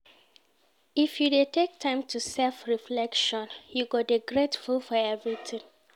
If you dey take time do self-reflection, you go dey grateful for everytin.